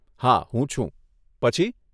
હા હું છું, પછી?